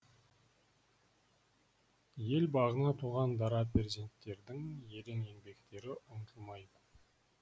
ел бағына туған дара перзенттердің ерен еңбектері ұмытылмайды